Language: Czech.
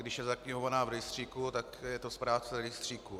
Když je zaknihovaná v rejstříku, tak je to správce rejstříku.